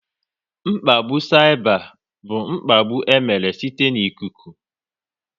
Mkpagbu saịba bụ mkpagbu e mere site n'ikuku